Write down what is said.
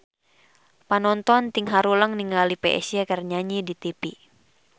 Panonton ting haruleng ningali Psy keur nyanyi di tipi